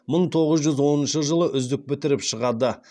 мың тоғыз жүз оныншы жылы үздік бітіріп шығады